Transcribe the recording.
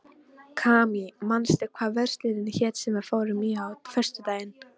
Kamí, manstu hvað verslunin hét sem við fórum í á föstudaginn?